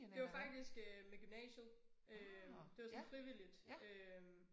Det var faktisk øh med gymnasiet øh det var sådan frivilligt øh